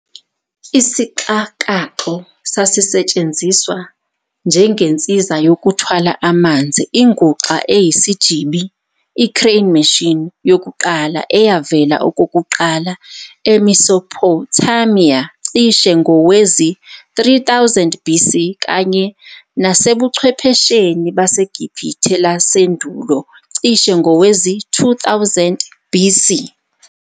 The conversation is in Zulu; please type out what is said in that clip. Isixakaxo sasisetshenziswa njengensiza yokuthwala amanzi, inguxa eyisijibi crane machine, yokuqala, eyavela okokuqala eMesopothamiya cishe ngowezi-3000 BC, kanye nasebuchwephesheni baseGibhithe lasendulo cishe ngowezi-2000 BC.